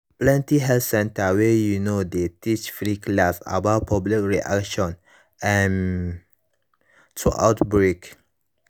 plenty health center wey you know dey teach free class about public reaction um to outbreak